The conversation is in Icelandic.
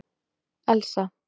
Elsa